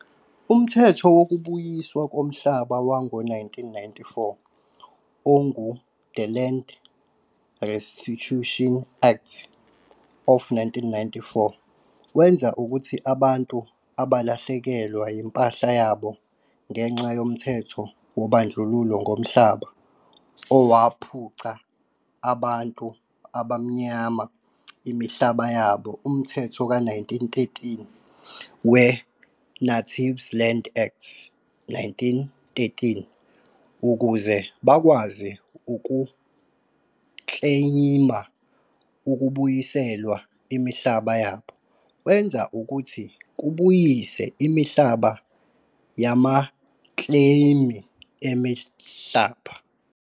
Umthetho wokubuyiswa komhlaba wango 1994, ongu-The Land Restitution Act of 1994 wenza ukuthi abantu abalahlekelwa yimpahla yabo ngenxa yomthetho wobandlululo ngomhlaba, owaphuca abantua bamnyama imihlaba yabo, umthetho ka 1913 we- Natives Land Act, 1913 ukuze bakwazi ukukleyimi ukubuyiselwa imihlaba yabo, wenza ukuthi kubuyisa imihlaba yamakleyimi emihlaba.